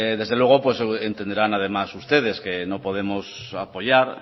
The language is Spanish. desde luego pues entenderán además ustedes que no podemos apoyar